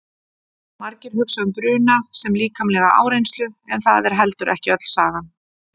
Margir hugsa um bruna sem líkamlega áreynslu en það er heldur ekki öll sagan.